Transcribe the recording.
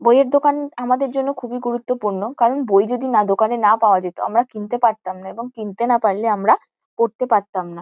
বইয়ের দোকান আমাদের জন্য খুবই গুরুত্বপূর্ণ। কারণ বই যদি না দোকানে না পাওয়া যেত আমরা কিনতে পারতাম না এবং কিনতে না পারলে আমরা পড়তে পারতাম না।